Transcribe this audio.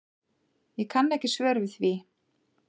Ég kann ekki svör við því.